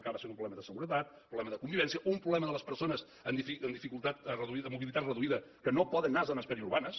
acaba sent un problema de seguretat un problema de convivència un problema de les persones amb mobilitat reduïda que no poden anar a zones periurbanes